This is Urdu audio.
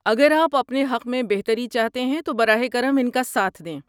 اگر آپ اپنے حق میں بہتری چاہتے ہیں تو براہ کرم ان کا ساتھ دیں۔